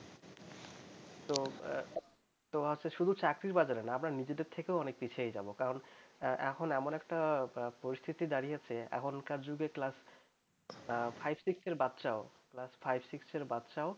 তো শুধু চাকরির বাজারে না আমরা নিজেদের থেকে অনেক পিছিয়ে যাব কারণ এখন এমন একটা পরিস্থিতি দাঁড়িয়েছে যে এখনকার যুগে class five six এর বাচ্চা ও class five six -এর বাচ্চাও